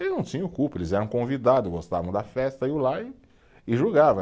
E não tinham culpa, eles eram convidados, gostavam da festa, iam lá e julgavam.